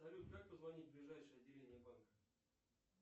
салют как позвонить в ближайшее отделение банка